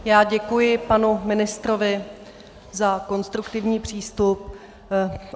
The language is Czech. Já děkuji panu ministrovi za konstruktivní přístup.